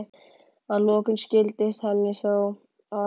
Að lokum skildist henni þó að